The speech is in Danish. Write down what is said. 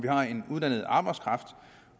har en uddannet arbejdskraft